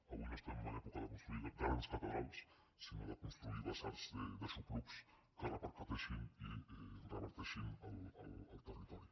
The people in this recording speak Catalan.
avui no estem en època de construir grans catedrals sinó de construir basars d’aixoplucs que repercuteixin i reverteixin al territori